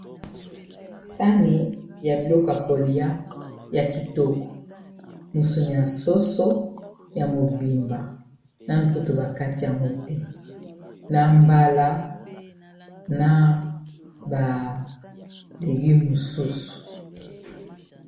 sani ya biloko yakolia ya kitoko moso nyasoso ya mobimba na mbutu bakati ya mote na mbala na balegi mosusu